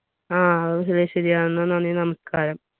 ആ അതും ശരിയാണ് എന്ന നന്ദി നമസ്ക്കാരം